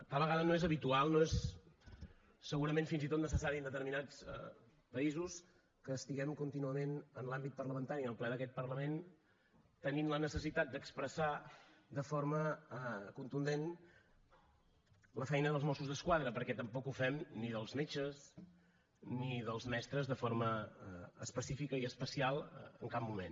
tal vegada no és habitual no és segurament fins i tot necessari en determinats països que estiguem contínuament en l’àmbit parlamentari en el ple d’aquest parlament tenint la necessitat d’expressar de forma contundent la feina dels mossos d’esquadra perquè tampoc ho fem ni dels metges ni dels mestres de forma específica i especial en cap moment